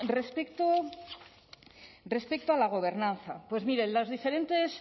respecto a la gobernanza miren los diferentes